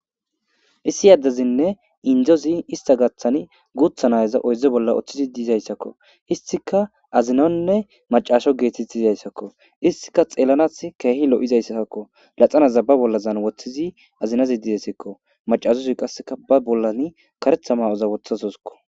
issi addezinne indzozi ista gaththani guutha nayaza oyze bolla oththizi diizayssakko istika azinonne macaasho geetett izayssakko istika xeellanat keehi lo7izayssakko laxana zabba bollazan woththizi azinazi didesikko macashozi qasseka ba bollan karetha ma7oza wotha soskko